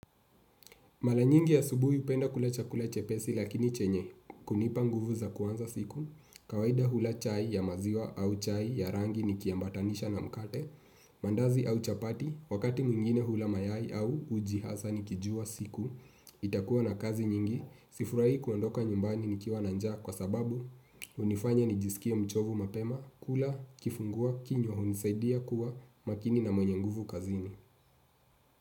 Mara nyingi asubuhi hupenda kula chakula chepesi lakini chenye, kunipa nguvu za kwanza siku, kawaida hula chai ya maziwa au chai ya rangi niki ambatanisha na mkate, mandazi au chapati, wakati mwingine hula mayai au uji hasa ni kijua siku, itakuwa na kazi nyingi, sifurai kuandoka nyumbani ni kiwa na njaa kwa sababu hunifanya nijisikie mchovu mapema, kula, kifungua, kinywa, hunisaidia kuwa, makini na mwenye nguvu kazini.